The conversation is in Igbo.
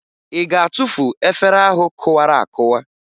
Ị ga-atufu efere ahụ kụwara akụwa?